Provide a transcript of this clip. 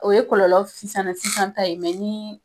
O ye kɔlɔlɔ sisana sisan ta ye mɛ ni